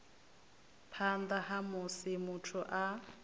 phanḓa ha musi muthu a